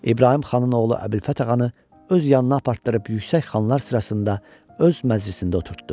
İbrahim xanın oğlu Əbülfət ağanı öz yanına apartdırıb yüksək xanlar sırasında öz məclisində oturtdu.